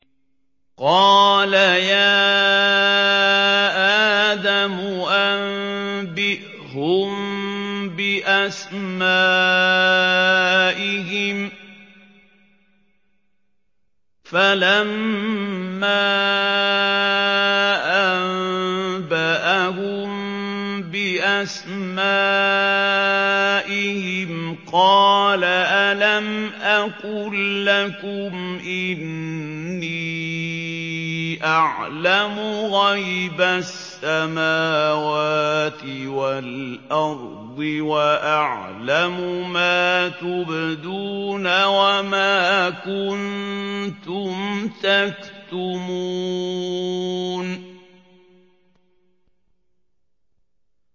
قَالَ يَا آدَمُ أَنبِئْهُم بِأَسْمَائِهِمْ ۖ فَلَمَّا أَنبَأَهُم بِأَسْمَائِهِمْ قَالَ أَلَمْ أَقُل لَّكُمْ إِنِّي أَعْلَمُ غَيْبَ السَّمَاوَاتِ وَالْأَرْضِ وَأَعْلَمُ مَا تُبْدُونَ وَمَا كُنتُمْ تَكْتُمُونَ